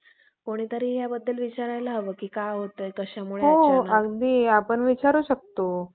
ओम हि ओम ह्रे, वगैरे वेद मंत्रातील वाक्यांचा बराच भरणा सोडतात. सापडतात. यावरुन ब्राम्हणांचा मूळ पूर्वजांनी